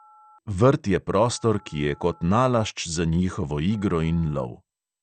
Vrt je prostor, ki je kot nalašč za njihovo igro in lov.